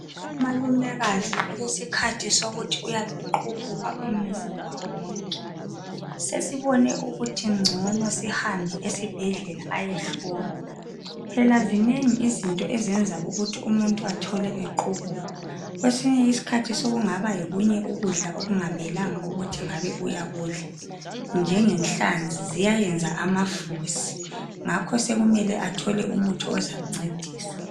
Umalumekazi ulesikhathi sokuthi uyabe qubuka umzimba wonke sesibone ukuthi ngcono sihambe esibhedlela ayehlolwa phela zinengi izinto ezenza ukuthi umuntu atshone equbuka. Kwesinye isikhathi sokungaba ngokunye ukudla okungamelanga ukuthi ngabe uyakudla njengenhlanzi ziyayenza amafusi ngakho sokumele athole umuthi ozamncedisa.